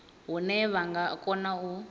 hune vha nga kona u